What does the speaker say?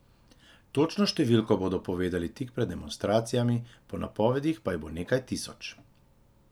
Točno številko bodo povedali tik pred demonstracijami, po napovedih pa jih bo nekaj tisoč.